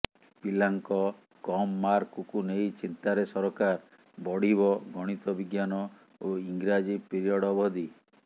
ପିଲାଙ୍କ କମ ମାର୍କକୁ ନେଇ ଚିନ୍ତାରେ ସରକାର ବଢ଼ିବ ଗଣିତ ବିଜ୍ଞାନ ଓ ଇଂରାଜୀ ପିରିୟଡ଼ ଅବଧି